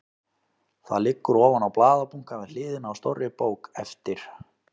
Það liggur ofan á blaðabunka við hliðina á stórri bók eftir